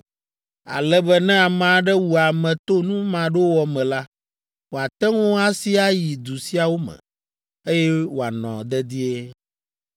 ale be ne ame aɖe wu ame to nu maɖowɔ me la, wòate ŋu asi ayi du siawo me, eye wòanɔ dedie.